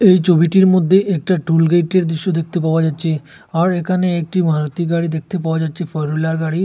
এই ছবিটির মধ্যে একটা টোল গেইটের দৃশ্য দেখতে পাওয়া যাচ্ছে আর এখানে একটি মারুতি গাড়ি দেখতে পাওয়া যাচ্ছে ফোর হুইলার গাড়ি।